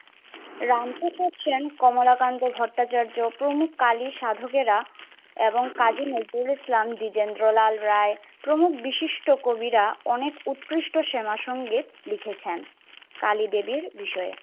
রামপ্রসাদ সেন, কমলাকান্ত ভট্টাচার্য প্রমুখ কালী সাধকেরা এবং কাজী নজরুল ইসলাম, দ্বিজেন্দ্রলাল রায়, প্রমুখ বিশিষ্ট কবিরা অনেক উৎকৃষ্ট শ্যামাসংগীত লিখেছেন কলিদেবীর বিষয়ে।